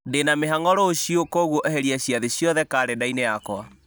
ndĩna mĩhang'o rũciũ na kwoguo eheria ciathĩ ciothe karenda-inĩ yakwa